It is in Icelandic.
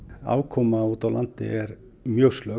afkoma úti á landi er mjög slök